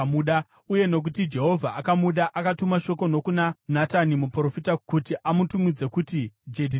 uye nokuti Jehovha akamuda, akatuma shoko nokuna Natani muprofita kuti amutumidze kuti Jedhidhia.